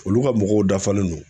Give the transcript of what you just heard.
Olu ka mɔgɔw dafalen don